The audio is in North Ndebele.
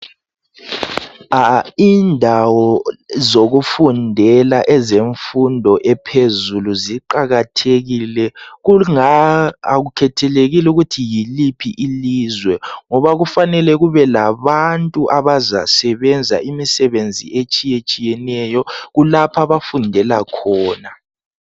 Indawo zokufundela ezemfundo ephezulu ziqakathekile kunga akukhethekile ukuthi yiliphi ilizwe ngoba kufanele kube labantu abazasebenza imisebenzi etshiyetshiyeneyo kulapha abafundela khona